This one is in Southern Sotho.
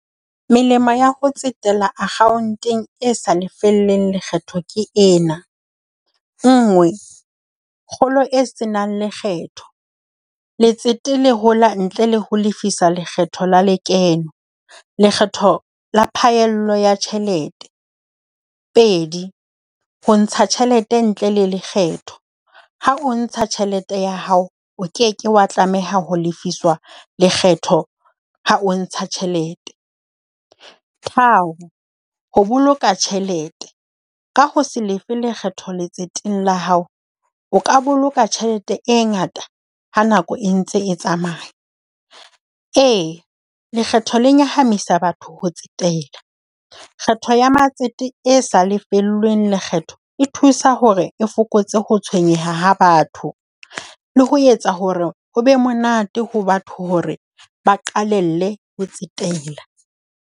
Melemo ya ho tsetela akhaonteng e sa lefellweng lekgetho ke ena. Nngwe, kgolo e senang lekgetho. Letsete le hola ntle le ho lefisa lekgetho la lekeno. Lekgetho la phaello ya tjhelete. Pedi, ho ntsha tjhelete ntle le lekgetho. Ha o ntsha tjhelete ya hao, o ke ke wa tlameha ho lefiswa lekgetho ha o ntsha tjhelete. Tharo, ho boloka tjhelete. Ka ho se lefe lekgetho letseteng la hao, o ka boloka tjhelete e ngata ha nako e ntse e tsamaya. Ee, lekgetho le nyahamisa batho ho tsetela. Kgetho ya matsete e sa lefellweng lekgetho e thusa hore e fokotse ho tshwenyeha ha batho, le ho etsa hore ho be monate ho batho hore ba qalelle ho tsetela.